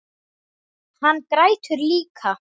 Hann grætur líka.